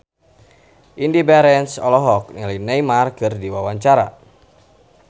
Indy Barens olohok ningali Neymar keur diwawancara